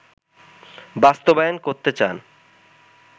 বাস্তবায়ন করতে চান